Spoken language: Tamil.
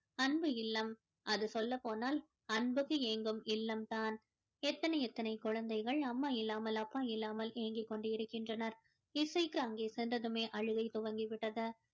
அன்பு இல்லம் அது சொல்லப் போனால் அன்பிற்கு ஏங்கும் இல்லம் தான் எத்தனை எத்தனை குழந்தைகள் அம்மா இல்லாமல் அப்பா இல்லாமல் ஏங்கிக் கொண்டிருக்கின்றனர் இசைக்கு அங்கே சென்றதுமே அழுகை துவங்கிவிட்டது